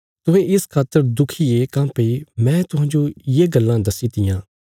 तुहें इस खातर दुखी ये काँह्भई मैं तुहांजो ये गल्लां दस्सी तियां